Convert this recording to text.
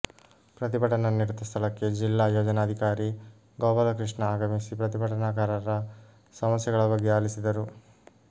ಪ್ರತಿಭಟನಾ ನಿರತ ಸ್ಥಳಕ್ಕೆ ಜಿಲ್ಲಾ ಯೋಜನಾಧಿಕಾರಿ ಗೋಪಾಲಕೃಷ್ಣ ಆಗಮಿಸಿ ಪ್ರತಿಭಟನಾಕಾರರ ಸಮಸ್ಯೆಗಳ ಬಗ್ಗೆ ಆಲಿಸಿದರು